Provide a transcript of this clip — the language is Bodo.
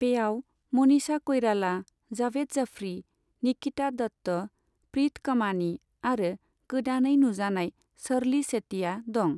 बेयाव मनीषा क'इराला, जावेद जाफ्री, निकिता दत्त, प्रित कमानी आरो गोदानै नुजानाय शर्ली सेतिया दं।